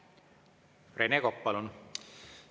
Rene Kokk, palun!